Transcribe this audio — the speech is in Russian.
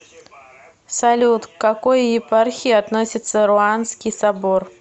салют к какой епархии относится руанский собор